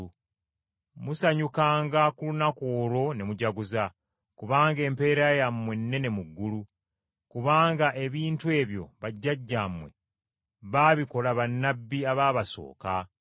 “Musanyukanga ku lunaku olwo ne mujaguza, kubanga empeera yammwe nnene mu ggulu, kubanga ebintu ebyo bajjajjammwe baabikola bannabbi abaabasooka.